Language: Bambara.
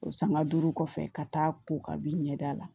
O sanga duuru kɔfɛ ka taa ko kabi ɲɛda la